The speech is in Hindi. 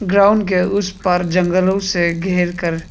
ग्राउंड के उस पार जंगलों से घेरकर--